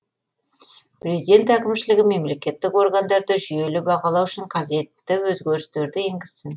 президент әкімшілігі мемлекеттік органдарды жүйелі бағалау үшін қажетті өзгерістерді енгізсін